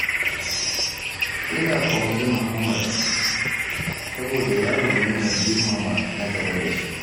Ina ƙaunar muhammad, saboda yaro ne mai girmama na gaba da shi.